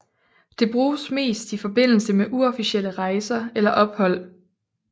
Det bruges mest i forbindelse med uofficielle rejser eller ophold